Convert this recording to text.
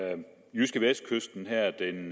jydskevestkysten her den